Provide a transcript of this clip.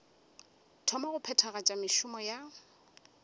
thoma go phethagatša mešomo ya